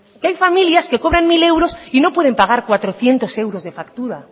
que hay familias que cobran mil euros y no pueden pagar cuatrocientos euros de factura